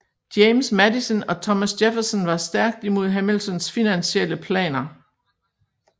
James Madison og Thomas Jefferson var stærkt imod Hamiltons finansielle planer